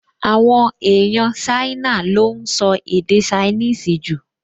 Àwọn èèyàn Ṣáínà ló ún sọ èdè ṣainíìsì jù